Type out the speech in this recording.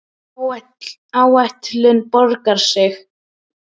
Áhættan borgaði sig.